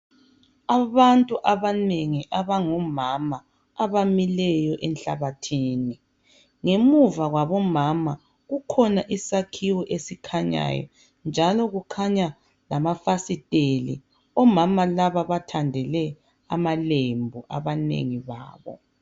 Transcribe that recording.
Abantu abanengi abangomama abamileyo enhlabathini ngemuva kwabomama kukhona isakhiwo esikhanyayo njalo kukhanya lamafasitela omama laba bathandele amalembu abanengi babo.